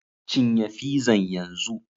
Cinye fizan yanzu!